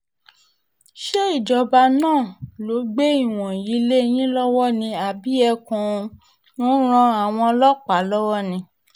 ṣé ìjọba náà ló gbé ìwọ̀nyí lé yín lọ́wọ́ ni àbí ẹ kàn ń ran àwọn ọlọ́pàá lọ́wọ́ ni